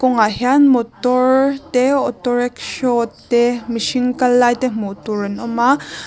kawngah hian motor te autorickshaw te mihring kal lai te hmuh tur an awm a.